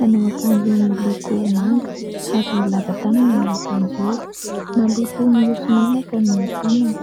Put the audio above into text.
manao akanjo miloko manga ary lava tanana io akanjo io, maloto mioso menaka ny tanany.